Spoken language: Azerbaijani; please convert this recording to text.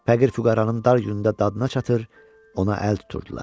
Fəqir füqəranın dar günündə dadına çatır, ona əl tuturdular.